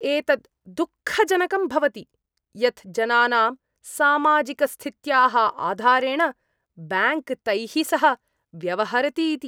एतत् दुःखजनकं भवति यत् जनानां सामाजिकस्थित्याः आधारेण ब्याङ्क् तैः सह व्यवहरति इति।